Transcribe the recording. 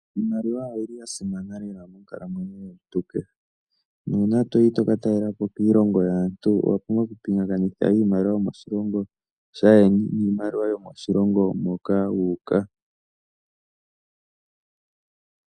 Iimaliwa oyi li ya simana lela monkalamweyo yomuntu kehe, nuuna to yi to ka talelapo kiilongo yaantu owa pumbwa okupingakanitha iimaliwa yo moshilongo shaayeni, niimaliwa yo moshilongo moka wu uka.